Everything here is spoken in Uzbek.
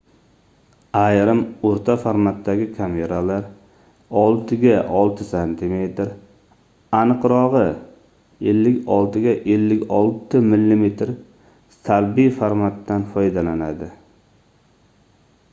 ayrim oʻrta formatdagi kameralar 6 ga 6 sm aniqrogʻi 56 ga 56 mm salbiy formatdan foydalanadi